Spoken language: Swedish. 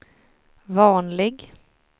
vanlig